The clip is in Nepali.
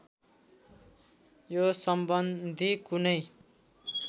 यो सम्बन्धी कुनै